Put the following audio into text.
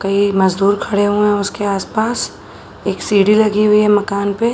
कई मजदूर खड़े हुए हैं उसके आस पास। एक सीढ़ी लगी हुई है मकान पे ।